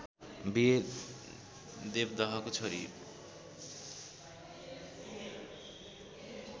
बिहे देवदहको छोरी